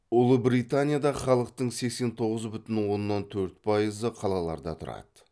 ұлыбританияда халықтың сексен тоғыз бүтін оннан төрт пайызы қалаларда тұрады